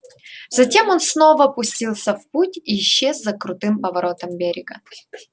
затем он снова пустился в путь и исчез за крутым поворотом берега